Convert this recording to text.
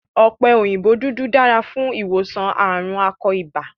Ọ̀pẹ òyìnbó dúdú dára fún ìwòsàn ààrùn akọ ibà.